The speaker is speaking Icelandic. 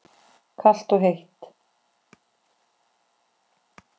Kalt og heitt.